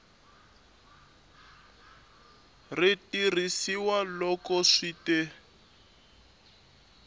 ri tirhisiwa loko swi te